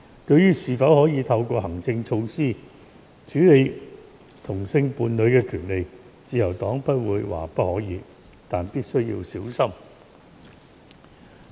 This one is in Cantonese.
對於是否可以透過行政措施處理同性伴侶的權利，自由黨不會說不可以，但必須小心處理。